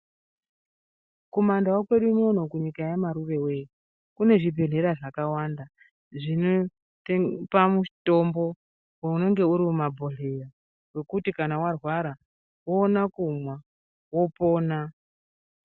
Mumandau kwedu unono kunyika yaMarurewee ,kune zvibhedhlera zvakawanda zvinetepa mitombo, unenge uri mumabhedhleya wekuti kana warwara, woona kumwa, wopona.